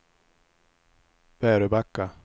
Väröbacka